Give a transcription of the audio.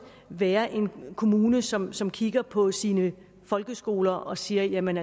være en kommune som som kigger på sine folkeskoler og siger jamen